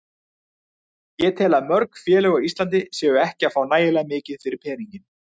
Ég tel að mörg félög á Íslandi séu ekki að fá nægilega mikið fyrir peninginn.